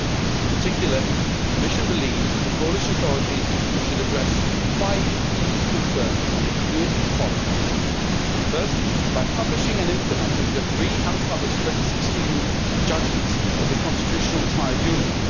In particular, the Commission believes that the Polish authorities should address five key concerns, and they could do it as follows first, by publishing and implementing the three unpublished 2016 judgments of the Constitutional Tribunal.